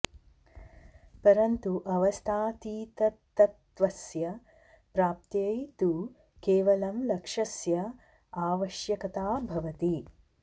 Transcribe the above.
परन्तु अवस्थातीततत्त्वस्य प्राप्त्यै तु केवलं लक्ष्यस्य आवश्यकता भवति